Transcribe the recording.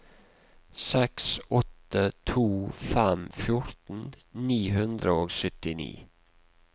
seks åtte to fem fjorten ni hundre og syttini